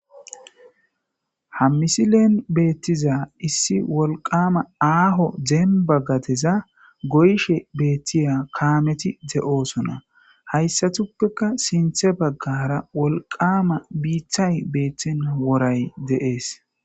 Ha misileen beettiza issi wolqama aaho zeemba gateza goyshe beettiya kaameti de'oosona hayssatuppeka sinthe baggara wolqama biithay beeththena woray de'ees